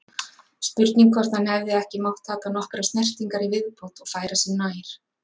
Spurning hvort hann hefði ekki mátt taka nokkrar snertingar í viðbót og færa sig nær?